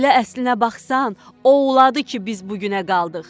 Elə əslinə baxsan, o ulovladı ki, biz bu günə qaldıq.